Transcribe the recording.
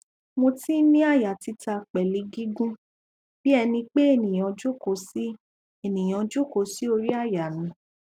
mo tin ni aya tita pelu gigun bi enipe eniyan joko si eniyan joko si ori aya mi